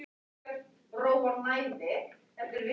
Lögreglan hringdi fljótlega aftur og sagði að afgreiðslustúlka á